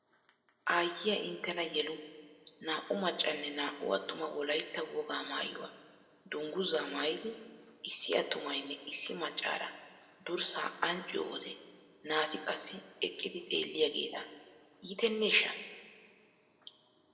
Aayyiya inttenna yelu naa'u maccanne naa'u attuma Wolaitta wogaa maayuwa dungguzaa maayid issi attumaynne issi maccaara durssaa ancciyo wode naa'ati qassi eqqidi xeelliyageeta iiteneeshsha!